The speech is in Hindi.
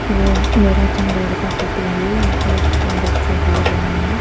ये मेरा का फोटो है यहां पर कोई बच्चे दौड़ रहे है।